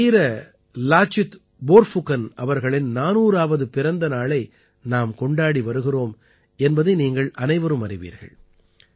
நமது வீர லாசித் போர்ஃபுகன் அவர்களின் 400ஆவது பிறந்த நாளை நாம் கொண்டாடி வருகிறோம் என்பதை நீங்கள் அனைவரும் அறிவீர்கள்